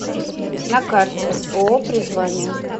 на карте ооо призвание